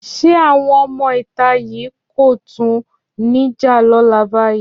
Ṣé àwọn ọmọ ìta yìí kò tún ní jà lọ́la báyìí?